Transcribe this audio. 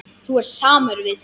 Þú ert samur við þig!